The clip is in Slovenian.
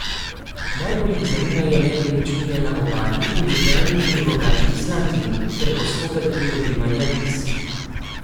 Najbolj jih zanimajo nepremičnine na Obali, v Ljubljani in v Rogaški Slatini ter postopek pridobivanja viz.